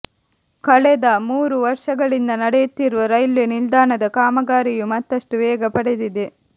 ಕಳೆದ ಮೂರು ವರ್ಷಗಳಿಂದ ನಡೆಯುತ್ತಿರುವ ರೈಲ್ವೇ ನಿಲ್ದಾಣದ ಕಾಮಗಾರಿಯು ಮತ್ತಷ್ಟು ವೇಗ ಪಡೆದಿದೆ